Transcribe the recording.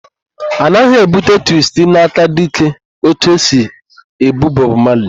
A naghị èbúte twistin aka dịka etu esi èbú Bọb Mali.